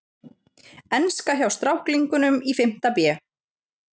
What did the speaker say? Enska hjá stráklingunum í fimmta bé.